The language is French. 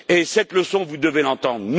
Et cette leçon, vous devez l'entendre.